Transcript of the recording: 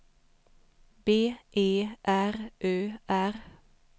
B E R Ö R